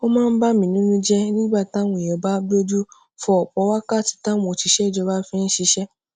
ó máa ń bani nínú jé nígbà táwọn èèyàn bá gbójú fo òpò wákàtí táwọn òṣìṣé ìjọba fi ń ṣiṣé